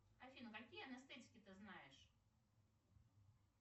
афина какие анестетики ты знаешь